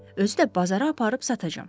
Özü də bazara aparıb satacam.